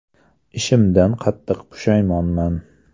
Ishimdan qattiq pushaymonman.